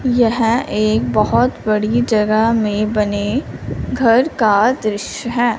यहे एक बहोत बड़ी जगह में बने घर का दृश्य है।